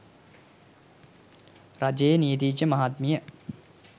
රජයේ නීතිඥ මහත්මිය